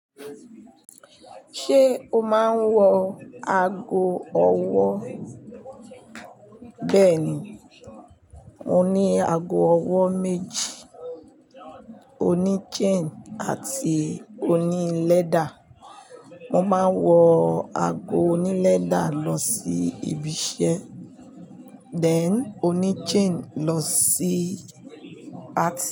Ṣé o máa ń wọ ago ọwọ́? Bẹ́ẹ̀ ni, mo ní ago ọwọ́ méjì, oní chain àti oní leather. Mo máa ń wọ ago oní leather lọ sí ibi iṣẹ́, then oní chain lọ sí party.